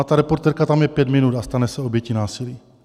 A ta reportérka tam je pět minut a stane se obětí násilí.